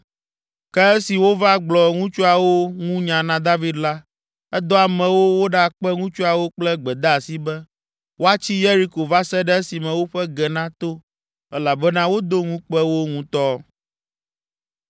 Ke esi wova gblɔ ŋutsuawo ŋu nya na David la, edɔ amewo woɖakpe ŋutsuawo kple gbedeasi be woatsi Yeriko va se ɖe esime woƒe ge nato elabena wodo ŋukpe wo ŋutɔ.